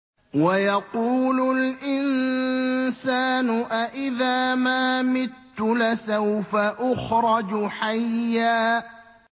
وَيَقُولُ الْإِنسَانُ أَإِذَا مَا مِتُّ لَسَوْفَ أُخْرَجُ حَيًّا